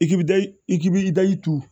I k'i bida i k'i be i daji turu